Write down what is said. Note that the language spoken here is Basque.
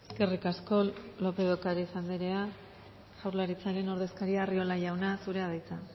eskerrik asko lópez de ocariz andrea jaurlaritzaren ordezkaria arriola jauna zurea da hitza